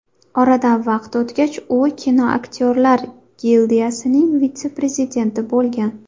Oradan vaqt o‘tgach, u kinoaktyorlar gildiyasining vitse-prezidenti bo‘lgan.